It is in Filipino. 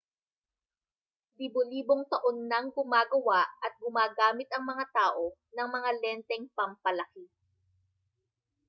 libo-libong taon nang gumagawa at gumagamit ang mga tao ng mga lenteng pampalaki